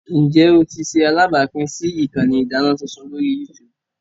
Njẹ o ti ṣe alabapin si ikanni idana tuntun lori YouTube?